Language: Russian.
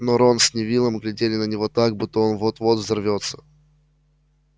но рон с невиллом глядели на него так как будто он вот-вот взорвётся